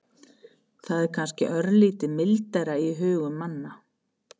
Það er kannski örlítið mildara í hugum manna.